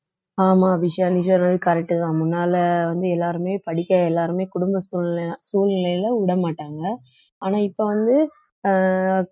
ஆமா அபிஷியா நீ சொல்லறது correct தான் முன்னால வந்து எல்லாருமே படிக்க எல்லாருமே குடும்ப சூழ்நிலை~ சூழ்நிலையில விடமாட்டாங்க ஆனா இப்ப வந்து அஹ்